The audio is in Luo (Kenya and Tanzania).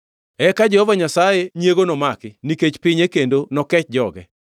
Eka Jehova Nyasaye nyiego nomaki nikech pinye kendo nokech joge.